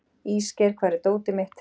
Ísgeir, hvar er dótið mitt?